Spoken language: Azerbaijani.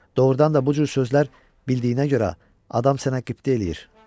Doğurdan da bu cür sözlər bildiyinə görə adam sənə qibtə eləyir,